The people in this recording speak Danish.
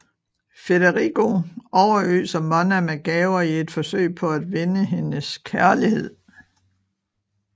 Federigo overøser Monna med gaver i et forsøg på at vinde hendes kærlighed